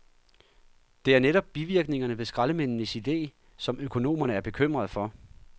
Det er netop bivirkningerne ved skraldemændenes ide, som økonomerne er bekymrede for.